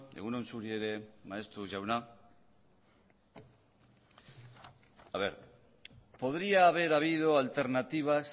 egun on zuri ere maeztu jauna podría haber habido alternativas